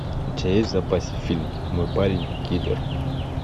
у тебя есть в запасе фильм мой парень киллер